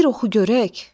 Bir oxu görək!